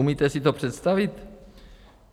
Umíte si to představit?